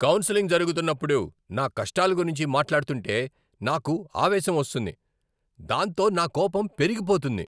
Counselling జరుగుతున్నప్పుడు నా కష్టాల గురించి మాట్లాడుతుంటే నాకు ఆవేశం వస్తుంది. దాంతో నా కోపం పెరిగిపోతుంది.